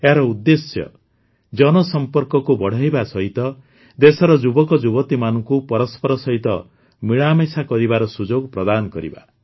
ଏହାର ଉଦ୍ଦେଶ୍ୟ ଜନସଂପର୍କକୁ ବଢ଼ାଇବା ସହିତ ଦେଶର ଯୁବକଯୁବତୀମାନଙ୍କୁ ପରସ୍ପର ସହିତ ମିଳାମିଶା କରିବାର ସୁଯୋଗ ପ୍ରଦାନ କରିବା